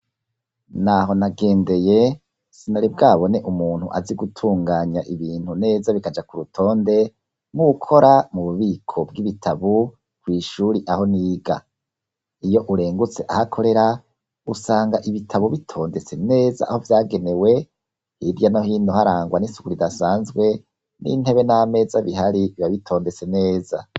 Naho nagendeye sinari bwabone umuntu azi gutunganya ibintu neza bikaja ku rutonde mukora mu bubiko bw'ibitabu kw'ishuri aho niga iyo urengutse ahakorera usanga ibitabu bitondese neza aho vyagenewe hirya no hino harangwa n'isuguri dase sanzwe n'intebe n'ameza bihari ibabitondetse neza.